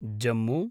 Jammu